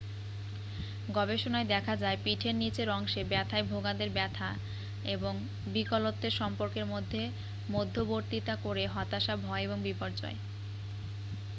গবেষণায় দেখা যায় পিঠের নীচের অংশে ব্যাথায় ভোগাদের ব্যাথা এবং বিকলত্বের সম্পর্কের মধ্যে মধ্যবর্তীতা করে হতাশা ভয় এবং বিপর্যয়